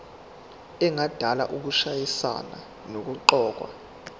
engadala ukushayisana nokuqokwa